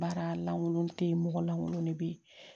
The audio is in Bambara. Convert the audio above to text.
Baara lankolon te yen mɔgɔ lankolon de be yen